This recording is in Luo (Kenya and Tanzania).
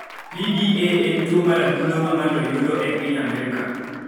PDA en tuo mar adundo ma ng�ato yudo e piny Amerka.